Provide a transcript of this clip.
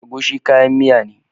Agushi kayan miya ne.